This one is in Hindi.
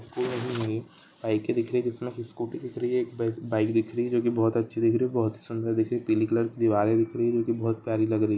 स्कूल में भी नहीं बाइके दिख रही है जिसमे एक स्कूटी दिख रही है बाइके दिख रही है जो की बहुत अच्छी दिख रही है बहुत ही सुन्दर दिख रही है पीले कलर की दीवारें दिख रही है जो की बहुत ही प्यारी लग रही है।